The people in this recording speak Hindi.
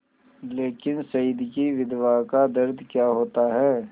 लेकिन शहीद की विधवा का दर्द क्या होता है